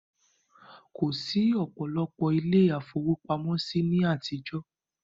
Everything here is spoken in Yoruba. Kò sí ọ̀pọ̀lọpọ̀ ilé ifówópamọ́ sí ní àtijọ́